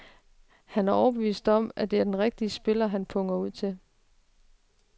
Han er overbevist om, det er den rigtige spiller, han punger ud til.